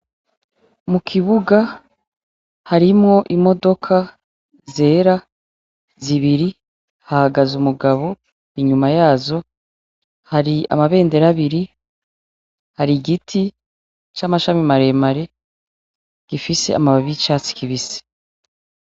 Mukibuga harimwo imodoka zera zibiri hahagaze umugabo inyuma yazo hari amabendera abiri, igiti c'amashami maremare, gifise amababi yicatsi kibisi.